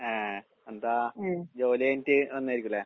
ആഹ്. എന്താ ജോലി കഴിഞ്ഞിട്ട് വന്നതായിരിക്കൂല്ലേ?